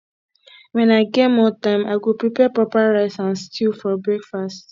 when i get more time i go prepare proper rice and stew for breakfast